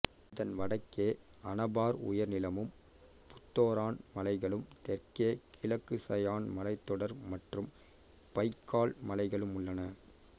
இதன் வடக்கே அனபார் உயர்நிலமும் புத்தோரன் மலைகளும் தெற்கே கிழக்கு சயான் மலைத்தொடர் மற்றும் பைக்கால் மலைகளும் உள்ளன